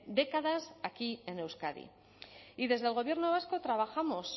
décadas aquí en euskadi y desde el gobierno vasco trabajamos